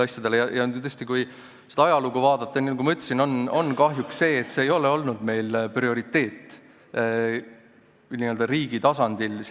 Ja tõesti, kui ajalugu vaadata, siis – nagu ma ütlesin – on kahjuks nii, et see ei ole meil olnud prioriteet n-ö riigi tasandil.